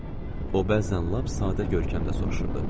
O bəzən lap sadə görkəmlə soruşurdu.